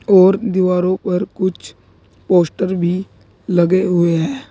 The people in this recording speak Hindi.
और दीवारों पर कुछ पोस्टर भी लगे हुए हैं।